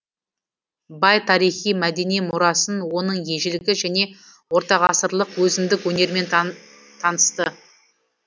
бай тарихи мәдени мұрасын оның ежелгі және ортағасырлық өзіндік өнерімен танысты